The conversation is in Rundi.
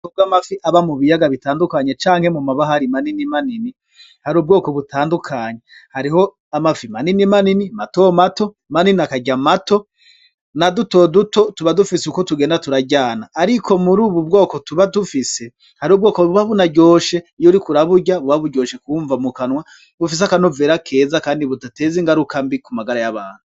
Kobw'amafi aba mu biyaga bitandukanye canke mu mabaha ari manini manini hari ubwoko butandukanya hariho amafi manini manini mato mato manini akarya mato na dutoduto tuba dufise uko tugenda turaryana, ariko muri, ubu bwoko tuba dufise hari ubwoko buba bunaryoshe iyo uri ko uraburya buba buryoshe kubumva mu kanwa gufise akanovera keza, kandi butateza ingaruka mbi ku magara y'abanu.